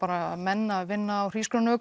menn að vinna á